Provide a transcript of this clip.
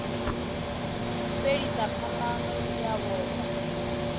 fhelisa phambano i a vhofha